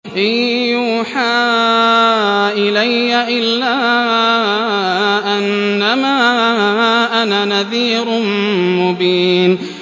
إِن يُوحَىٰ إِلَيَّ إِلَّا أَنَّمَا أَنَا نَذِيرٌ مُّبِينٌ